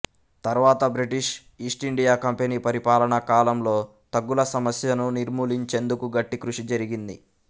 తర్వాత British East India company పరిపాలన కాలంలో థగ్గుల సమస్యను నిర్మూలించేందుకు గట్టి కృషి జరిగింది